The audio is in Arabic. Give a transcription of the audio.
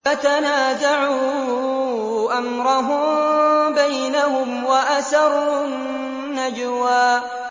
فَتَنَازَعُوا أَمْرَهُم بَيْنَهُمْ وَأَسَرُّوا النَّجْوَىٰ